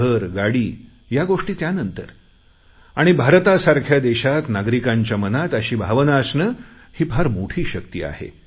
घर गाडी या गोष्टी त्यानंतर आणि भारतासारख्या देशात नागरिकांच्या मनात अशी भावना असणे ही फार मोठी शक्ती आहे